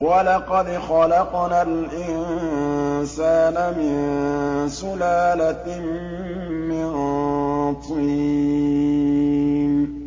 وَلَقَدْ خَلَقْنَا الْإِنسَانَ مِن سُلَالَةٍ مِّن طِينٍ